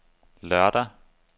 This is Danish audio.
lørdag